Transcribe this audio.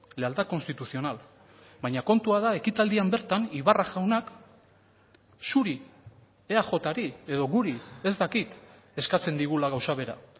lealtad constitucional baina kontua da ekitaldian bertan ibarra jaunak zuri eajri edo guri ez dakit eskatzen digula gauza bera